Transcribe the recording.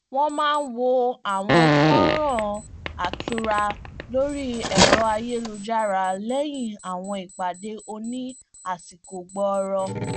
wọn máà n wo àwọn fọnrán án atura lórí ẹrọ ayélujára lẹyìn àwọn ìpàdé oní àsìkò gbọọrọ